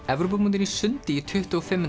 Evrópumótinu í sundi í tuttugu og fimm